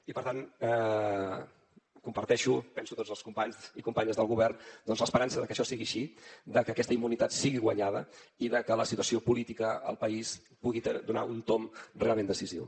i per tant comparteixo penso tots els companys i companyes del govern doncs l’esperança de que això sigui així de que aquesta immunitat sigui guanyada i de que la situació política al país pugui donar un tomb realment decisiu